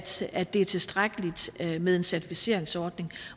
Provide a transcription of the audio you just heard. siger at det er tilstrækkeligt med en certificeringsordning